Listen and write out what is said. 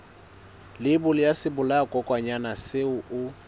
leibole ya sebolayakokwanyana seo o